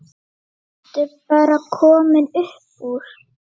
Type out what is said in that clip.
Ertu bara komin upp úr?